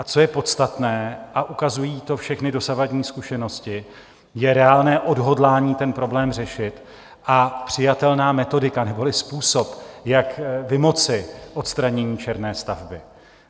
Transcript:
A co je podstatné, a ukazují to všechny dosavadní zkušenosti, je reálné odhodlání ten problém řešit a přijatelná metodika neboli způsob, jak vymoci odstranění černé stavby.